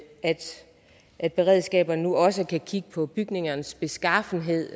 at beredskaberne nu også kan kigge på bygningernes beskaffenhed